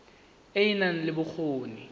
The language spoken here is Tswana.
e e nang le bokgoni